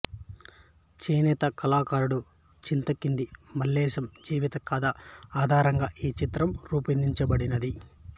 చేనేత కళాకారుడు చింతకింది మల్లేశం జీవిత కథ ఆధారంగా ఈ చిత్రం రూపొందించబడినది